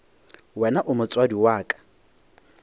wena o motswadi wa ka